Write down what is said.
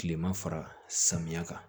Kilema fara samiya kan